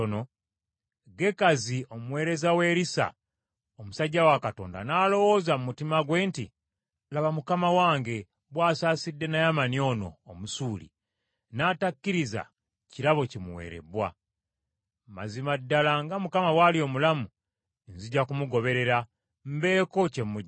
Gekazi omuweereza wa Erisa omusajja wa Katonda, n’alowooza mu mutima gwe nti, “Laba mukama wange bw’asaasidde Naamani ono Omusuuli, n’atakkiriza kirabo kimuweerebbwa. Mazima ddala, nga Mukama bw’ali omulamu nzija kumugoberera, mbeeko kye muggyako.”